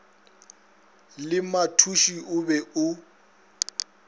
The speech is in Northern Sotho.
le mathuši o be o